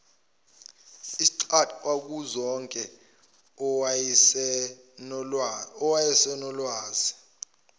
isigcwagcwa kuzonke owayesenolwazi